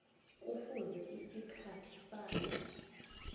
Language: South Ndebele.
kufuze isikhathi sayo